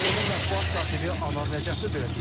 Qurumun mətbuat katibi Anar Nəcəfli belə deyir.